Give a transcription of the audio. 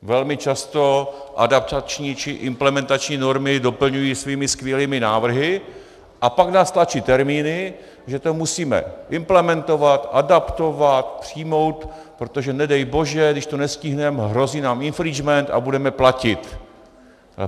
Velmi často adaptační či implementační normy doplňují svými skvělými návrhy a pak nás tlačí termíny, že to musíme implementovat, adaptovat, přijmout, protože nedej bože když to nestihneme, hrozí nám infringement a budeme platit.